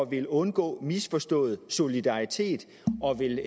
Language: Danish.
ville undgå misforstået solidaritet